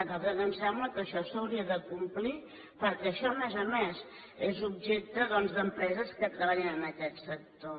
a nosaltres ens sembla que això s’hauria de complir perquè això a més a més és objecte doncs d’empreses que treballen en aquest sector